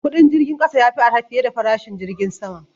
Kudin jirgin kasa ya fi arha fiye da farashin jirgin sama.